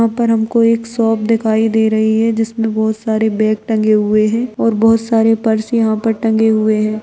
यहां पर हमको एक शॉप दिखाई दे रही है जिसमे बहुत सारे बैग टंगे हुए है और बहुत सारे पर्स यहां पे टंगे हुए है।